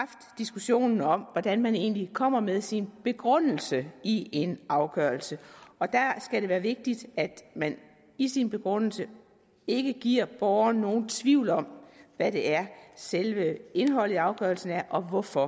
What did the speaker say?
diskussionen om hvordan man egentlig kommer med sin begrundelse i en afgørelse og der skal det være vigtigt at man i sin begrundelse ikke giver borgeren nogen tvivl om hvad det er selve indholdet i afgørelsen er og hvorfor